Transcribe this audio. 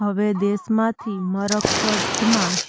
હવે દેશમાંથી મરકજમાં